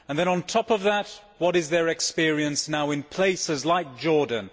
On top of that, what is their experience now in places like Jordan?